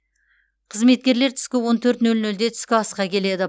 қызметкерлер түскі он төрт нөл нөлде түскі асқа келеді